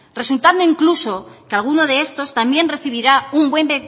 resultando incluso que algunos de estos también recibirá un buen